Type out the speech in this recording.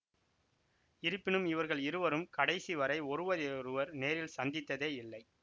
இருப்பினும் இவர்கள் இருவரும் கடைசிவரை ஒருவரையொருவர் நேரில் சந்தித்ததே இல்லை